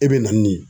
E bɛ na ni